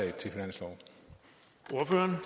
have